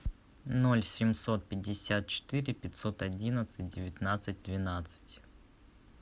ноль семьсот пятьдесят четыре пятьсот одиннадцать девятнадцать двенадцать